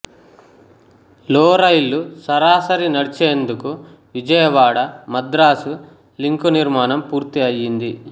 లో రైళ్లు సరాసరి నడిచేందుకు విజయవాడమద్రాసు లింక్ నిర్మాణం పూర్తి ఆయ్యింది